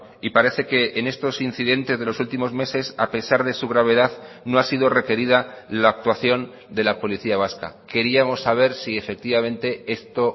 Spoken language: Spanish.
y parece que en estos incidentes de los últimos meses a pesar de su gravedad no ha sido requerida la actuación de la policía vasca queríamos saber si efectivamente esto